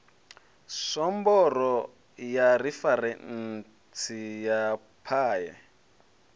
somboro ya referentsi ya paye